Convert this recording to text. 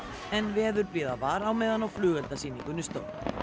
en veðurblíða var á meðan á flugeldasýningunni stóð